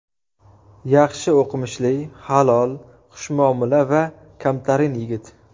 Yaxshi o‘qimishli, halol, xushmuomala va kamtarin yigit.